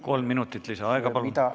Kolm minutit lisaaega, palun!